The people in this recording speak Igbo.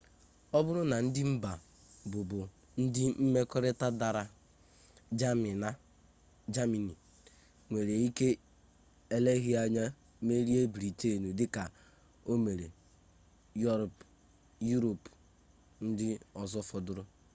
ọ bụrụ na ndị mba bụbu ndị mmekọrịta dara jamanị nwere ike eleghi anya merie briten dị ka o mere yurop ndị ọzọ fọdụrụ